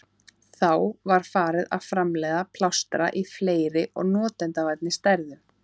Þá var farið að framleiða plástra í fleiri og notendavænni stærðum.